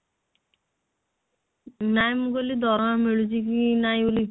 ନାଇଁ ମୁଁ କହିଲି ଦରମା ମିଳୁଛି କି ନାଇଁ ବୋଲି